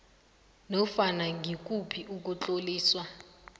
nofana ngikuphi ukutloliswa